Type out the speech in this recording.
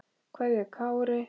Kveðja, Kári.